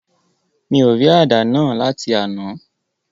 Mi ò rí àdá náà láti àná.